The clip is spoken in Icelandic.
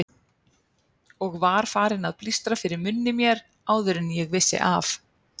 Og var farinn að blístra fyrir munni mér áður en ég vissi af.